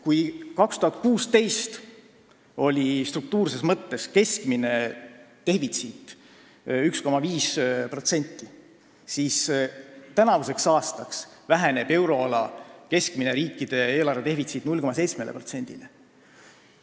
Kui 2016. aastal oli struktuurses mõttes keskmine defitsiit 1,5%, siis tänavu väheneb euroala riikide keskmine eelarvedefitsiit 0,7%-ni.